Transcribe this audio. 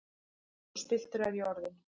Svo spilltur er ég orðinn!